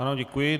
Ano, děkuji.